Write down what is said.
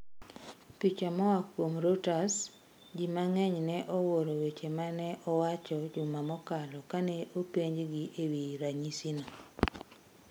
Picha moa kuom Reuters Ji mang'eny ne owuoro weche ma ne owacho juma mokalo kane openjgi e wi ranyisino.